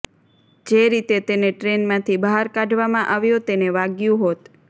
જે રીતે તેને ટ્રેનમાંથી બહાર કાઢવામાં આવ્યો તેને વાગ્યું હોત